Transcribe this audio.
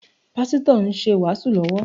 Pásítọ̀ ń ṣe ìwàásù lọ́wọ́